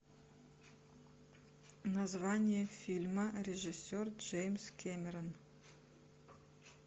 название фильма режиссер джеймс кэмерон